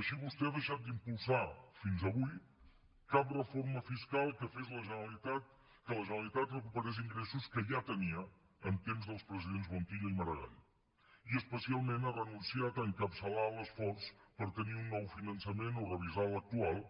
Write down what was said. així vostè ha deixat d’impulsar fins avui cap reforma fiscal que fes la generalitat que la generalitat recuperés ingressos que ja tenia en temps dels presidents montilla i maragall i especialment ha renunciat a encapçalar l’esforç per tenir un nou finançament o revisar l’actual